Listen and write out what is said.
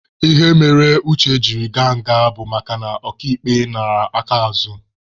Ihe mere Uche jiri gaa nga bụ makana oka ikpe nara aka azụ.